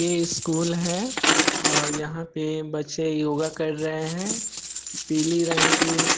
ये स्कूल है और यहाँ पे बच्चे योग कर रहे है पीले रंग की--